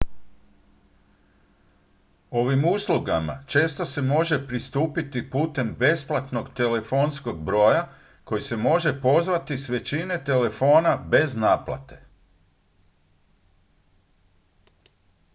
ovim uslugama često se može pristupiti putem besplatnog telefonskog broja koji se može pozvati s većine telefona bez naplate